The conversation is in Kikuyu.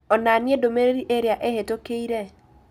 onania ndũmĩrĩri ĩrĩa ĩhĩtũkĩire